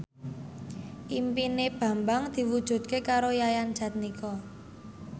impine Bambang diwujudke karo Yayan Jatnika